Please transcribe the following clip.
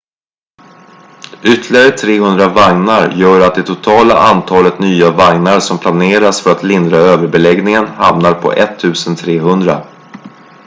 ytterligare 300 vagnar gör att det totala antalet nya vagnar som planeras för att lindra överbeläggningen hamnar på 1300